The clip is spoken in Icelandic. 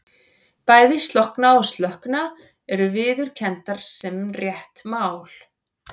Bæði slokkna og slökkna eru viðurkenndar sem rétt mál.